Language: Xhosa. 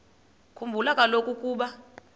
khumbula kaloku ukuba